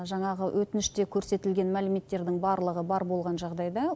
жаңағы өтініште көрсетілген мәліметтердің барлығы бар болған жағдайда